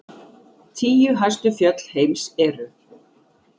Tíu hæstu fjöll heims eru: